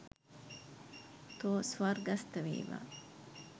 තෝ ස්වර්ගස්ථ වේවා.